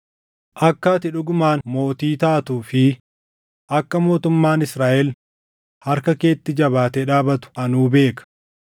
Akka ati dhugumaan mootii taatuu fi akka mootummaan Israaʼel harka keetti jabaatee dhaabatu anuu beeka.